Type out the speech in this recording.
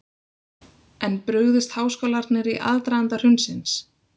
En brugðust háskólarnir í aðdraganda hrunsins?